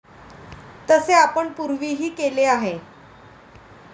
तसे आपण पूर्वीही केले आहे.